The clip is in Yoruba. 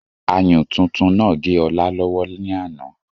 Ayùn tuntun náà gé Ọlá lọ́wọ́ ní àná